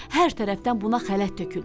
Hər tərəfdən buna xələt töküldü.